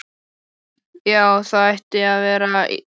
Já, það ætti að vera í lagi.